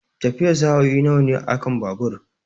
Tafiyar sa'o'i nawa ne akan babur?